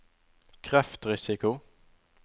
kreftrisiko